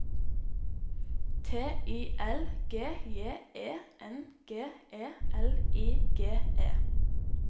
T I L G J E N G E L I G E